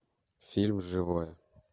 фильм живое